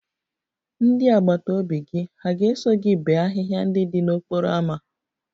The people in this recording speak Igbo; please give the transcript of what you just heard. Ndị agbata obi gị hà ga-eso gị bee ahịhịa ndị dị n'okporo ámá?